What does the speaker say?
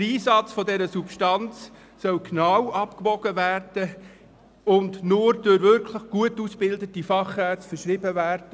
Der Einsatz dieser Substanz soll genau abgewogen und sie soll nur durch wirklich gut ausgebildete Fachärzte verschrieben werden.